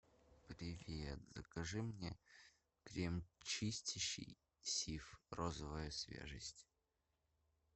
привет закажи мне крем чистящий сиф розовая свежесть